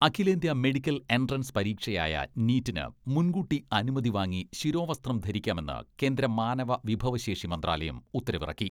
അഖിലേന്ത്യാ medical entrance പരീക്ഷയായ നീറ്റിന് മുൻകൂട്ടി അനുമതി വാങ്ങി ശിരോവസ്ത്രം ധരിക്കാമെന്ന് കേന്ദ്ര മാനവ വിഭവശേഷി മന്ത്രാലയം ഉത്തരവിറക്കി.